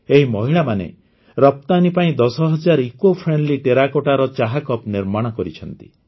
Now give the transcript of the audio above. ଏହି ମହିଳାମାନେ ରପ୍ତାନୀ ପାଇଁ ଦଶହଜାର ଇକୋଫ୍ରେଣ୍ଡଲି ଟେରାକୋଟ୍ଟାର ଚା କପ୍ ନିର୍ମାଣ କରିଛନ୍ତି